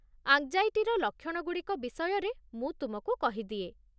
ଆଙ୍ଗ୍ଜାଇଟିର ଲକ୍ଷଣ ଗୁଡ଼ିକ ବିଷୟରେ ମୁଁ ତୁମକୁ କହିଦିଏ।